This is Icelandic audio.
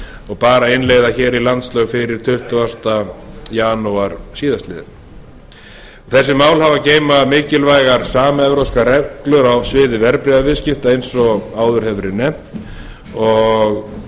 og bar að innleiða hér í landslög fyrir tuttugasta janúar síðastliðnum þessi mál hafa að geyma mikilvægar samevrópskar reglur á sviði verðbréfaviðskipta eins og áður hefur verið nefnt og